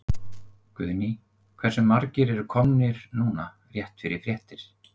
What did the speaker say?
Guðný: Hversu margir eru komnir núna rétt fyrir fréttir?